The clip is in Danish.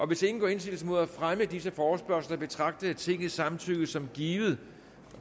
hvis ingen gør indsigelse mod fremme af disse forespørgsler betragter jeg tingets samtykke som givet